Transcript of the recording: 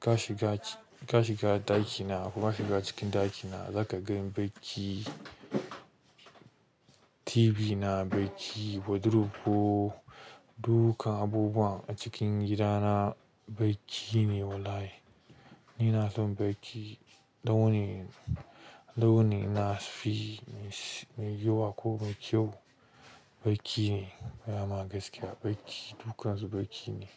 Ka shiga, ka shiga ɗakina kuma kaga cikin ɗakina zaka gan bacci. TV na baƙi, wardrobe ko duka abubuwa a cikin gidana baƙi ne wallahi. Ni na son baƙi, launin, launin ina fi so, mai yawa ko mai kyau baƙi ne. Ingaya ma gaskiya baƙi, dukkansu baƙi ne.